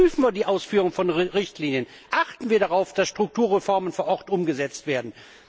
Überprüfen wir die Ausführung von Richtlinien, achten wir darauf, dass Strukturreformen vor Ort umgesetzt werden!